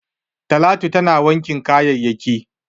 Talatu tana wankin kayayyaki.